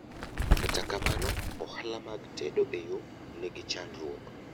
kata kamano, ohala mag tedo e yoo nigi chandruok